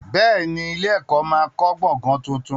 Bẹ́ẹ̀ ni, ilé-ẹ̀kọ́ máa kọ́ gbọ̀gàn tuntun.